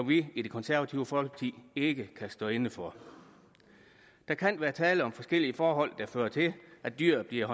vi i det konservative folkeparti ikke stå inde for der kan være tale om forskellige forhold der fører til at dyr bliver